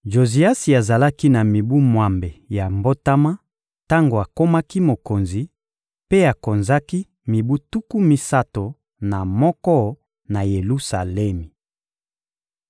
Joziasi azalaki na mibu mwambe ya mbotama tango akomaki mokonzi, mpe akonzaki mibu tuku misato na moko na Yelusalemi.